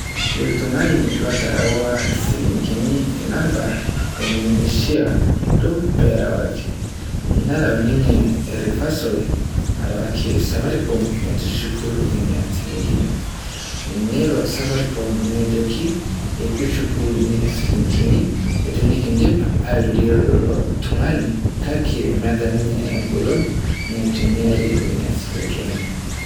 Iltung'ani laterewa ishilingini inamba enimishia duo pee erawaki. Nereu ninye reversal arewaki Safaricom metushuku nena shilingini. Neiro Safaricom nejoki ekishuku nena shilingini tenikidip airorie ilo tung'ani kake meeta ninche eng'olon naitumiare nena shilingini.